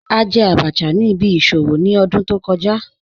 A jẹ̀ àbàchà ni ìbí ìṣòwò ni ọ̀dún tó kọ̀ja